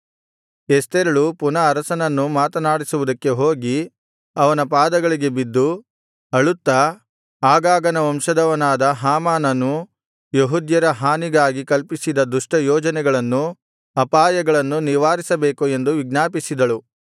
ಎಸ್ತೇರಳು ಪುನಃ ಅರಸನನ್ನು ಮಾತನಾಡಿಸುವುದಕ್ಕೆ ಹೋಗಿ ಅವನ ಪಾದಗಳಿಗೆ ಬಿದ್ದು ಅಳುತ್ತಾ ಅಗಾಗನ ವಂಶದವನಾದ ಹಾಮಾನನು ಯೆಹೂದ್ಯರ ಹಾನಿಗಾಗಿ ಕಲ್ಪಿಸಿದ ದುಷ್ಟ ಯೋಜನೆಗಳನ್ನು ಅಪಾಯಗಳನ್ನು ನಿವಾರಿಸಬೇಕು ಎಂದು ವಿಜ್ಞಾಪಿಸಿದಳು